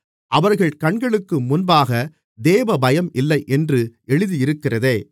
அவர்கள் கண்களுக்கு முன்பாகத் தேவபயம் இல்லை என்று எழுதியிருக்கிறதே